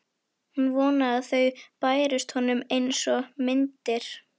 Hún vonaði að þau bærust honum einsog myndir.